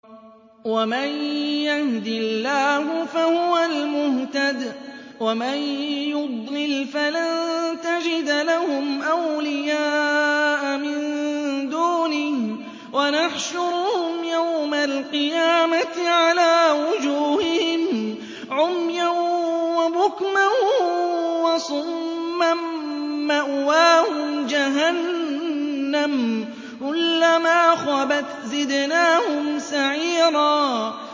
وَمَن يَهْدِ اللَّهُ فَهُوَ الْمُهْتَدِ ۖ وَمَن يُضْلِلْ فَلَن تَجِدَ لَهُمْ أَوْلِيَاءَ مِن دُونِهِ ۖ وَنَحْشُرُهُمْ يَوْمَ الْقِيَامَةِ عَلَىٰ وُجُوهِهِمْ عُمْيًا وَبُكْمًا وَصُمًّا ۖ مَّأْوَاهُمْ جَهَنَّمُ ۖ كُلَّمَا خَبَتْ زِدْنَاهُمْ سَعِيرًا